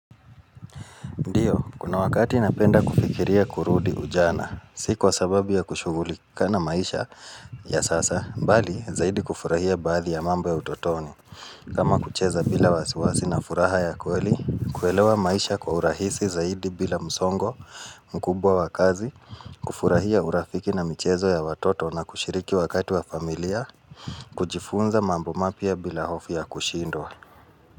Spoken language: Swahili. Ndio, kuna wakati napenda kufikiria kurudi ujana, si kwa sababu ya kushugulika na maisha ya sasa, bali zaidi kufurahia baadhi ya mambo ya utotoni. Kama kucheza bila wasiwasi na furaha ya kweli, kuelewa maisha kwa urahisi zaidi bila msongo, mkubwa wa kazi, kufurahia urafiki na michezo ya watoto na kushiriki wakati wa familia, kujifunza mambo mapya bila hofu ya kushindwa.